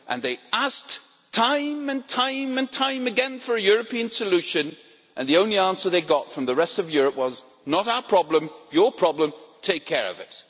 They asked time and time and time again for a European solution and the only answer they got from the rest of Europe was that it's not our problem, but your problem, so take care of it'.